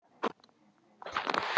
Það mundi ég ekki heldur gera